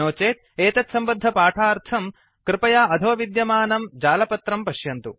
नो चेत् एतत्सम्बद्धपाठार्थं कृपया अधो विद्यमानं जालपत्रं पश्यन्तु